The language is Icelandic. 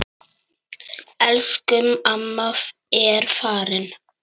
Elsku amma er farin.